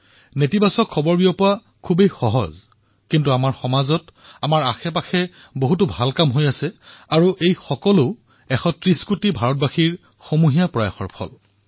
নঞৰ্থক প্ৰভাৱ প্ৰচাৰ কৰিবলৈ সহজ কিন্তু আমাৰ সমাজত আমাৰ ওচৰেপাজৰে এনে বহু লোকে কাম কৰি আছে আৰু এয়া সকলো ১৩০ কোটি ভাৰতবাসীৰ সামুহিক প্ৰয়াসৰ ফলত হৈছে